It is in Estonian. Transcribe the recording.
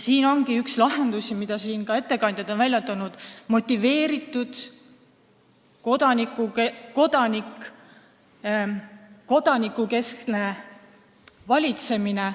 Siin ongi üks lahendusi, mida ka ettekandjad on välja toonud: motiveeritud kodaniku keskne valitsemine.